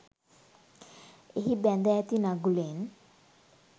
එහි බැඳ ඇති නගුලෙන්